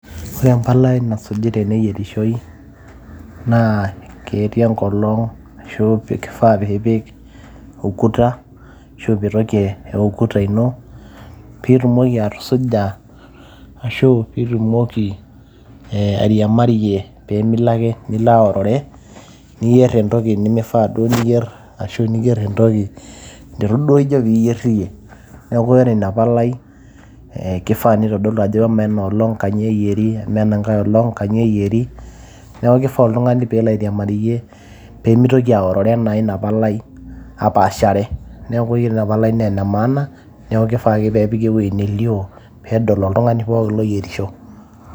Ore empalai nasuji teneyierishoi, naa, ketii enkolong',ashu kifaa pipik ukuta, ashu petoki ukuta ino, pitumoki atusuja, ashu pitumoki airiamariyie pimilo ake nilo airore, niyier entoki nimifaa duo niyier, ashu niyier entoki nitu duo ijo piyier iyie. Neeku ore ina palai, eh kifaa nitodolu ajo amaa enoolong' kanyioo eyieri, amaa enankae olong', kanyioo eyieri. Neeku kifaa oltung'ani pelo airiamariyie, pemitoki aorore naa ina palai apaashare. Neeku yiolo ina palai na enemaana, neeku kifaa ake nepiki ewueji nelio, pedol oltung'ani pookin loyierisho.